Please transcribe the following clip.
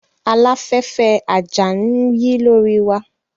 Aláfẹ́fẹ́ àjà ń yí lórí wa